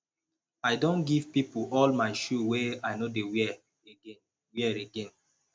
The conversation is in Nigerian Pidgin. i don give pipo all my shoe wey i no dey wear again wear again